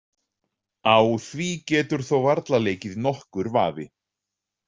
Á því getur þó varla leikið nokkur vafi.